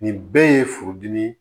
Nin bɛɛ ye furudimi ye